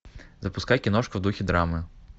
запускай киношку в духе драмы